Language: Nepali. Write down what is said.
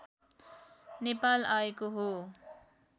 नेपाल आएको हो